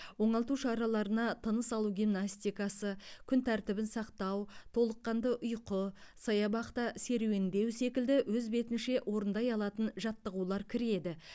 оңалту шараларына тыныс алу гимнастикасы күн тәртібін сақтау толыққанды ұйқы саябақта серуендеу секілді өз бетінше орындай алатын жаттығулар кіреді